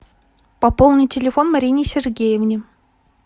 пополни телефон марине сергеевне